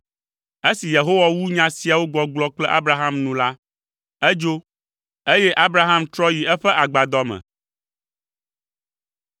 Esi Yehowa wu nya siawo gbɔgblɔ kple Abraham nu la, edzo, eye Abraham trɔ yi eƒe agbadɔ me.